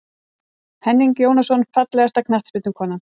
Henning Jónasson Fallegasta knattspyrnukonan?